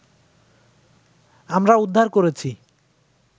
আমরা উদ্ধার করেছি